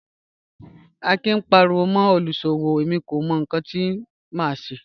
Akin ń paríwọ́ mọ́ olúṣọ́wọ́, ẹ̀mí kò mọ̀ níkan tí mà ṣé